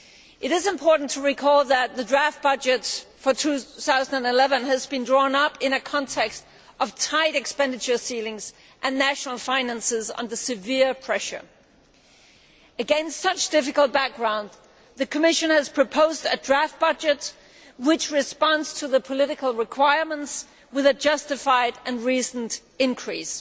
It is important to recall that the draft budget for 2011 has been drawn up in a context of tight expenditure ceilings and national finances under severe pressure. Against such a difficult background, the Commission has proposed a draft budget which responds to the political requirements with a justified and reasoned increase.